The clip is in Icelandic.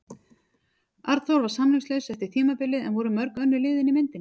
Arnþór var samningslaus eftir tímabilið en voru mörg önnur lið inni í myndinni?